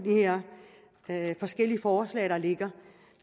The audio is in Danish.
af de forskellige forslag der ligger